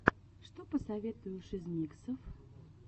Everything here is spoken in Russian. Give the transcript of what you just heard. что посоветуешь из миксов